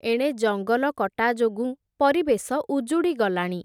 ଏଣେ ଜଙ୍ଗଲ କଟା ଯୋଗୁଁ, ପରିବେଶ ଉଜୁଡ଼ି ଗଲାଣି ।